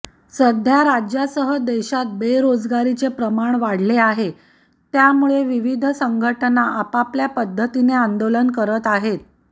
सध्या राज्यासह देशात बेरोजगारीचे प्रमाण वाढले आहे त्यामुळे विविध संघटना आपापल्या पद्धतीने आंदोलन करत आहेत